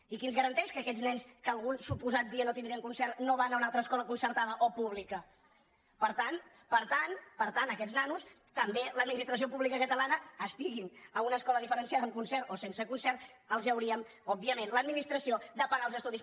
i qui ens garanteix que aquests nens que algun suposat dia no tindrien concert no van a una altra escola concertada o pública per tant a aquests nanos també l’administració pública catalana estiguin en una escola diferenciada amb concert o sense concert els hauria òbviament l’administració de pagar els estudis